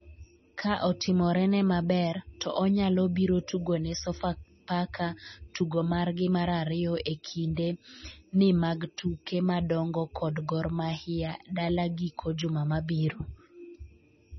ka otimorene maber, to onyalo biro tugone Sofapaka tugo margi mar ariyo e kinde ni mag tuke madongo kod Gor Mahia dala giko juma mabiro